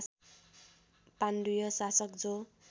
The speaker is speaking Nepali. पाण्डुय शासक जो